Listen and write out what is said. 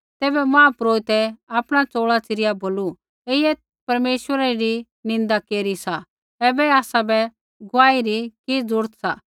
तैबै महापुरोहितै आपणा चोल़ा च़िरिया बोलू ऐईयै परमेश्वरै री निन्दा केरी सा ऐबै आसाबै गुआही री कि ज़रूरत सा